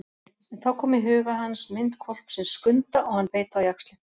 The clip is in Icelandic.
En þá kom í huga hans mynd hvolpsins Skunda og hann beit á jaxlinn.